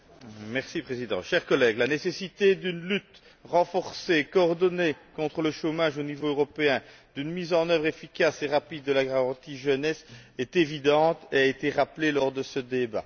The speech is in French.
Monsieur le Président, chers collègues, la nécessité d'une lutte renforcée et coordonnée contre le chômage au niveau européen et d'une mise en œuvre efficace et rapide de la garantie jeunesse est évidente et a été rappelée lors de ce débat.